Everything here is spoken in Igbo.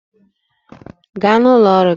Gaa n'ụlọ ọrụ gị!